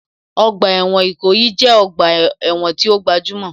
Ọgbà ẹ̀wọ̀n Ìkòyí jẹ́ ọgbà ẹ̀wọ̀n tí ó gbajúmọ̀